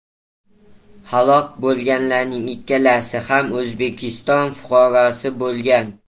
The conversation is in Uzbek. Halok bo‘lganlarning ikkalasi ham O‘zbekiston fuqarosi bo‘lgan.